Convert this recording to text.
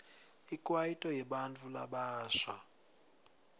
ikwaito yebantfu labasha